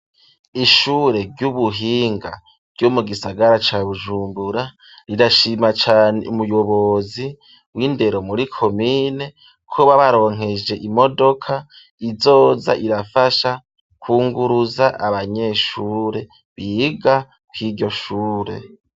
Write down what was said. Ishure ry'ubuhinga ryo mu gisagara ca bujumbura rirashima cane umuyobozi w'indero muri komine ko babaronkeje imodoka izoza irafasha kunguruza abanyeshure biga kw'iryoshure.